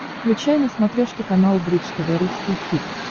включай на смотрешке канал бридж тв русский хит